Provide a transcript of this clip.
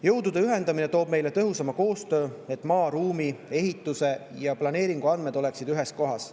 Jõudude ühendamine toob meile tõhusama koostöö, et maa-, ruumi-, ehitus- ja planeeringuandmed oleksid ühes kohas.